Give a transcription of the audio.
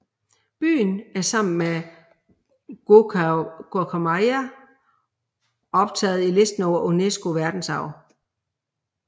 Byen er sammen med Gokayama optaget på listen over UNESCO verdensarv